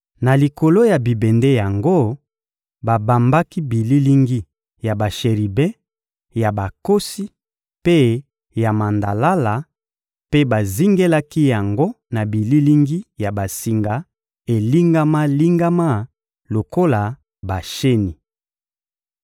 Na likolo ya bibende yango, babambaki bililingi ya basheribe, ya bankosi mpe ya mandalala; mpe bazingelaki yango na bililingi ya basinga elingama-lingama lokola basheni.